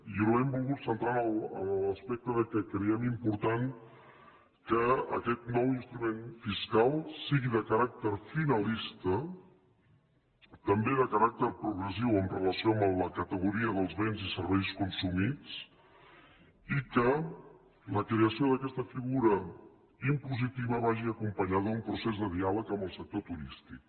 i l’hem volguda centrar en l’aspecte que creiem important que aquest nou instrument fiscal sigui de caràcter finalista també de caràcter progressiu amb relació a la categoria dels béns i serveis consumits i que la creació d’aquesta figura impositiva vagi acompanyada d’un procés de diàleg amb el sector turístic